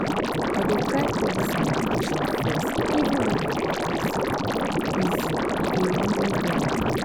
i dey try put this meditation first even when i dey busy- busy- e dey really help.